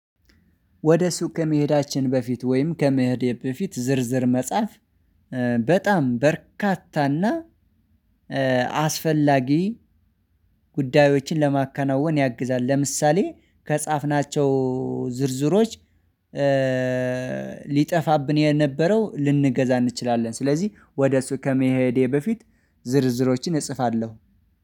ወደ ሱቅ ከመሄዳችን በፊት ወይም ከመሄዴ በፊት ዝርዝር መጻፍ በጣም በርካታና አስፈላጊ ጉዳዮችን ለማከናወን ያግዛል። ለምሳሌ ከጻፍናቸው ዝርዝሮች ሊጠፋብን የነበረው ልንገዛ እንችላለን። ስለዚህ ወደ እሱ ከመሄዴ በፊት ዝርዝሮችን እጽፋለሁ